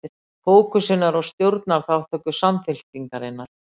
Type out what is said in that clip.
Fókusinn er á stjórnarþátttöku Samfylkingarinnar